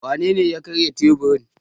Wanene ya karya teburin?